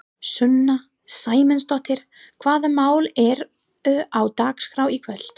Sunna Sæmundsdóttir: Hvaða mál eru á dagskrá í kvöld?